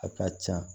A ka ca